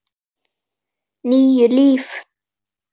Níu líf.